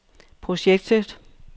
projektet